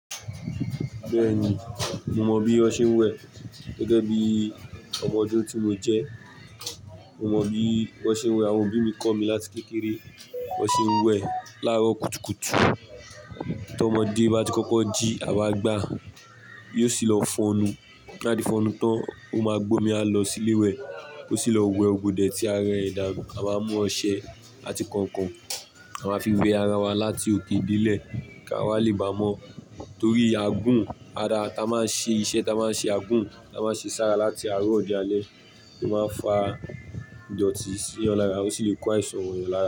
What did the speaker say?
Bẹ́ẹ̀ni, mo mọ̀ bí ó ṣe ń wẹ̀. Bẹ́ẹ̀ni, mo mọ̀ bí ó ṣe ń wẹ̀. Àwọn òbí mi kọ́ mi láti kékeré, bí wón ṣe ń wẹ̀. Lárò kùtùkùtù, tí ọmọdé bá ti kọ́kọ́ jí àwa gbà, yóò sì lọ fọnu. Láti fọnú tán, ó máa gbómi, a lọ síléwẹ̀, ó sì lọ wẹ gbògbodè tí ara ẹ̀dánu. A máa mú ọṣẹ àti kọ̀ọ̀kan, a máa fi wẹ ara wa láti òkè dílẹ̀ kí a wá lè bá mọ̀. Torí àgún, ara ta máa ń ṣe iṣẹ́ ta máa ń ṣe àgún, ta máa ń ṣe sára láti aró di àlẹ́ẹ́, ó máa ń fa ìdọ̀tì sí ọ̀eyàn lára, ó sì lè kó àìsàn wọ ẹ̀yàn lára.